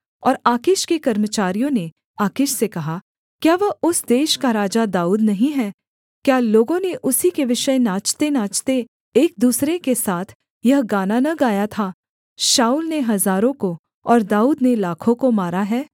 और आकीश के कर्मचारियों ने आकीश से कहा क्या वह उस देश का राजा दाऊद नहीं है क्या लोगों ने उसी के विषय नाचतेनाचते एक दूसरे के साथ यह गाना न गया था शाऊल ने हजारों को और दाऊद ने लाखों को मारा है